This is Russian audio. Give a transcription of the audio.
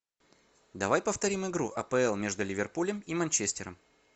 давай повторим игру апл между ливерпулем и манчестером